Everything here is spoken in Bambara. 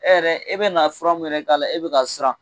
E yɛrɛ i bɛ na fura min yɛrɛ k'a la e bɛ ka siran.